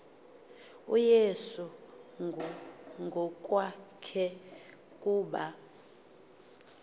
uyesu ngokwakhe kuba